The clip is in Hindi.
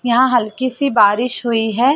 यहाँ हल्की सी बारिस हुई है।